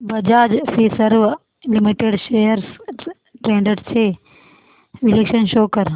Bajaj Finserv limited shares trends चे विश्लेषण show कर